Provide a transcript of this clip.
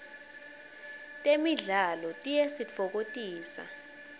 temidlalo tiyasitfokotisa